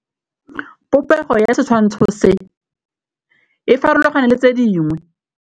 Popêgo ya setshwantshô se, e farologane le tse dingwe.